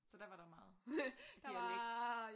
Så der var der jo meget der var